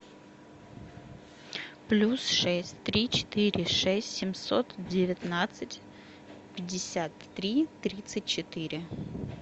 плюс шесть три четыре шесть семьсот девятнадцать пятьдесят три тридцать четыре